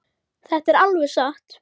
Þetta er alveg satt.